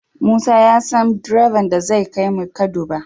Musa ya san direban da zai kai mun kaduba